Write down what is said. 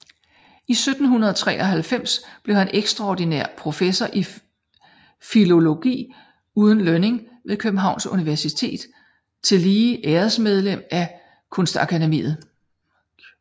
I 1793 blev han extraordinær Professor i Filologi uden Lønning ved Kjøbenhavns Universitet og tillige Æresmedlem af Kunstakademiet